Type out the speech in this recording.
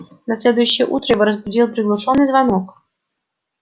на следующее утро его разбудил приглушённый звонок